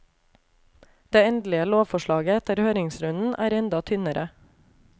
Det endelige lovforslaget etter høringsrunden er enda tynnere.